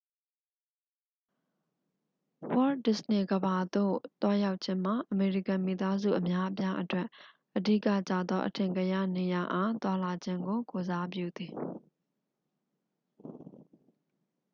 ဝေါ့ဒစ္စနေကမ္ဘာသို့ သွားရောက်ခြင်းမှာ အမေရိကန်မိသားစု အများအပြားအတွက် အဓိကကျသော အထင်ကရနေရာအား သွားလာခြင်းကို ကိုယ်စားပြုသည်